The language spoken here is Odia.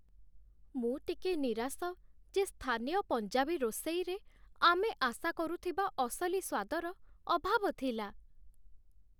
ମୁଁ ଟିକେ ନିରାଶ ଯେ ସ୍ଥାନୀୟ ପଞ୍ଜାବୀ ରୋଷେଇରେ ଆମେ ଆଶା କରୁଥିବା ଅସଲି ସ୍ୱାଦର ଅଭାବ ଥିଲା।